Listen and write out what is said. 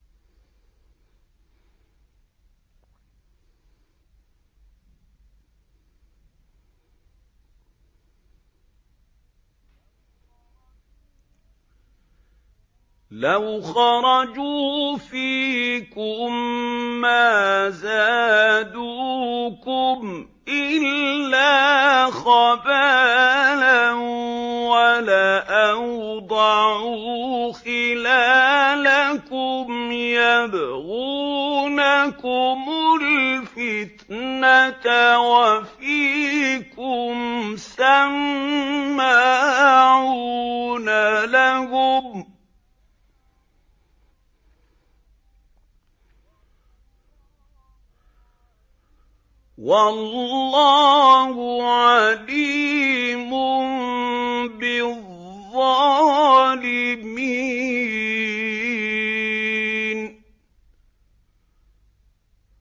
لَوْ خَرَجُوا فِيكُم مَّا زَادُوكُمْ إِلَّا خَبَالًا وَلَأَوْضَعُوا خِلَالَكُمْ يَبْغُونَكُمُ الْفِتْنَةَ وَفِيكُمْ سَمَّاعُونَ لَهُمْ ۗ وَاللَّهُ عَلِيمٌ بِالظَّالِمِينَ